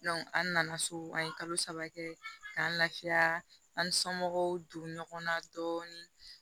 an nana so an ye kalo saba kɛ k'an lafiya an somɔgɔw don ɲɔgɔn na dɔɔni